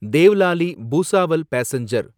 Devlali Bhusawal passenger